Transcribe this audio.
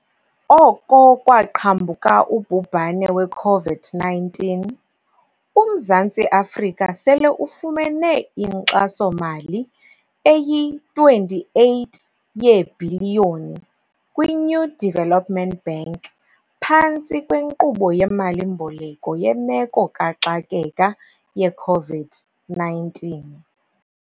Oko kwaqhambuka ubhubhane we-COVID-19, uMzantsi Afrika sele ufumene inkxaso-mali eyi-R28 yeebhiliyoni kwi-New Development Bank phantsi kweNkqubo yeMali-mboleko yeMeko kaXakeka ye-COVID-19.